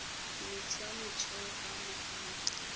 metsi a motheo a mahala